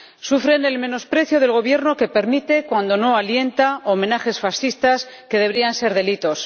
Sufren el menosprecio del Gobierno, que permite, cuando no alienta, homenajes fascistas que deberían ser delitos